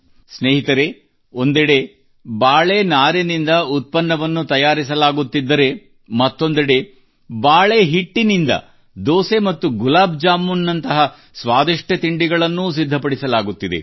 ಸ್ನೇಹಿತರೆ ಒಂದೆಡೆ ಬಾಳೆ ನಾರಿನಿಂದ ಉತ್ಪನ್ನವನ್ನು ತಯಾರಿಸಲಾಗುತ್ತಿದ್ದರೆ ಮತ್ತೊಂದೆಡೆ ಬಾಳೆ ಹಿಟ್ಟಿನಿಂದ ದೋಸೆ ಮತ್ತು ಗುಲಾಬ್ ಜಾಮೂನ್ ನಂತಹ ಸ್ವಾದಿಷ್ಟ ತಿಂಡಿಗಳನ್ನೂ ಸಿದ್ಧಪಡಿಸಲಾಗುತ್ತಿದೆ